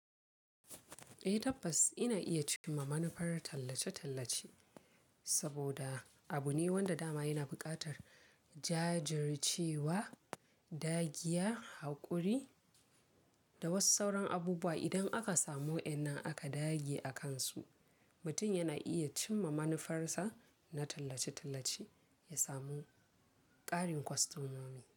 Eh tabbas ina iya cimma manufar tallace-tallace saboda abu ne wanda dama yana buƙatar jajircewa, dagiya, haƙuri da wasu sauran abubuwa. Idan aka samu wayannan aka dage a kansu, mutum yana iya cimma manufarsa na tallace-tallace ya samu ƙarin kwastomomi.